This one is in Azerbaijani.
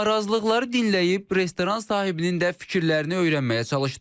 Narazılıqları dinləyib restoran sahibinin də fikirlərini öyrənməyə çalışdıq.